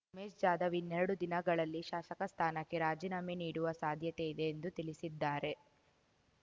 ಉಮೇಶ್‌ ಜಾಧವ್‌ ಇನ್ನೆರಡು ದಿನಗಳಲ್ಲಿ ಶಾಸಕ ಸ್ಥಾನಕ್ಕೆ ರಾಜೀನಾಮೆ ನೀಡುವ ಸಾಧ್ಯತೆಯಿದೆ ಎಂದು ತಿಳಿಸಿದ್ದಾರೆ